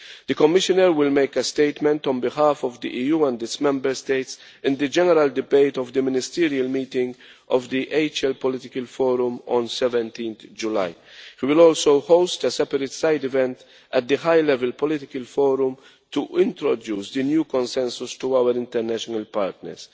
The Commissioner will make a statement on behalf of the EU and its Member States in the general debate of the ministerial meeting of the high level political forum on 17 July. He will also host a separate side event at the high level political forum to introduce the new consensus to our international partners.